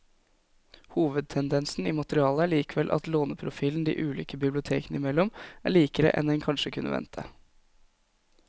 Hovedtendensen i materialet er likevel at låneprofilen de ulike bibliotekene imellom er likere enn en kanskje kunne vente.